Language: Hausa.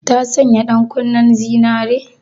Ta sanya ɗankunnen zinaren?